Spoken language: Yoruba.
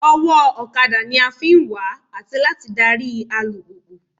Ọwọ́ ọ̀kadà ni a fi ń wà àti láti darí alùpùpù